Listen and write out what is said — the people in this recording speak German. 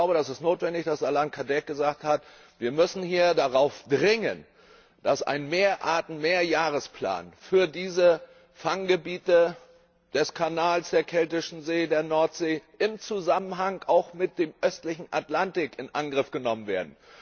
Es ist notwendig, was Alain Cadec gesagt hat Wir müssen hier darauf dringen, dass ein Mehr Arten Mehrjahresplan für diese Fanggebiete des Ärmel Kanals, der Keltischen See, der Nordsee im Zusammenhang auch mit dem Östlichen Atlantik in Angriff genommen wird.